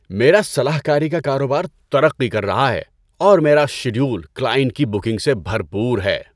میرا صلاح کاری کا کاروبار ترقی کر رہا ہے، اور میرا شیڈول کلائنٹ کی بکنگ سے بھرپور ہے۔